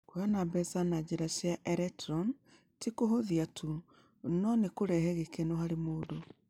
Kũheana mbeca na njĩra cia eletroni ti kũhũthia tu, no nĩ kũrehe gĩkeno harĩ mũndũ.